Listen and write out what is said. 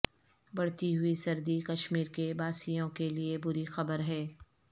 بڑھتی ہوئی سردی کشمیر کے باسیوں کے لیے بری خبر ہے